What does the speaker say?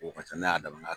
O ka ca n'a y'a damana